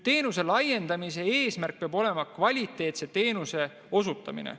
Teenuse laiendamise eesmärk peab olema kvaliteetse teenuse osutamine.